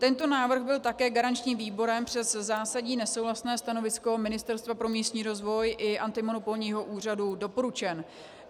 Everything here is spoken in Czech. Tento návrh byl také garančním výborem přes zásadní nesouhlasné stanovisko Ministerstva pro místní rozvoj i antimonopolního úřadu doporučen.